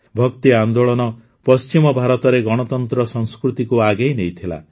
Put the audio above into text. ଭକ୍ତି ଆନ୍ଦୋଳନ ପଶ୍ଚିମ ଭାରତରେ ଗଣତନ୍ତ୍ର ସଂସ୍କୃତିକୁ ଆଗେଇ ନେଇଥିଲା